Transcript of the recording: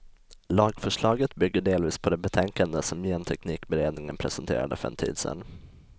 Lagförslaget bygger delvis på det betänkande som genteknikberedningen presenterade för en tid sedan.